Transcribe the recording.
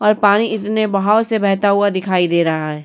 और पानी इतने बहाव से बहता हुआ दिखाई दे रहा है।